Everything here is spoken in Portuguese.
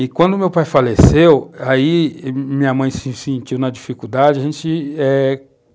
E quando meu pai faleceu, aí minha mãe se sentiu na dificuldade, a gente, eh